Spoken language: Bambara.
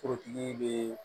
Forotigi bɛ